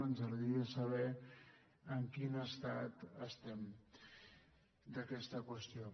ens agradaria saber en quin estat estem d’aquesta qüestió